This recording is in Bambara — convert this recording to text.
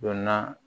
Donna